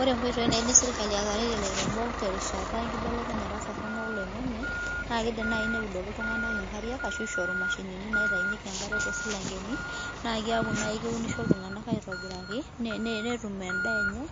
Ore nkoitoii naidim sirkali ataretie ilairemok terishata enkibelekenyata torrono oloing'ang'e, na kidim nai neudoki iltung'anak inkariak ashu ishoru mashinini naitayunyeki enkare tosilankeni, na keeku nai keunisho iltung'anak aitobiraki, netum endaa enye,